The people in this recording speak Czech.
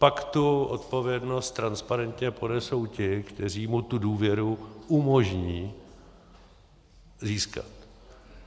Pak tu odpovědnost transparentně ponesou ti, kteří mu tu důvěru umožní získat.